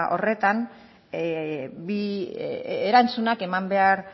horretan bi erantzunak eman behar